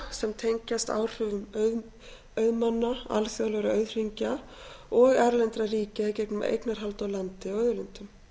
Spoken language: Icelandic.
sem tengjast áhrifum auðmanna alþjóðlegra auðhringja og erlendra ríkja í gegnum eignarhald á landi og auðlindum